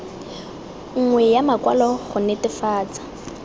nngwe ya makwalo go netefatsa